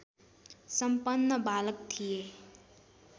सम्पन्न बालक थिए